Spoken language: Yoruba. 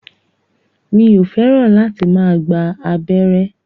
Mi ò fẹ́ràn láti máa gba abẹ́rẹ́